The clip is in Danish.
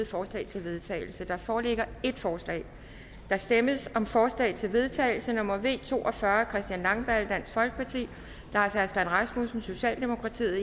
forslag til vedtagelse der foreligger et forslag der stemmes om forslag til vedtagelse nummer v to og fyrre af christian langballe lars aslan rasmussen